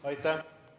Aitäh!